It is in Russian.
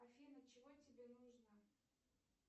афина чего тебе нужно